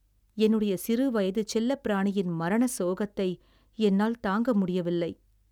என்னுடைய சிறுவயது செல்லப்பிராணியின் மரண சோகத்தை என்னால் தாங்க முடியவில்லை.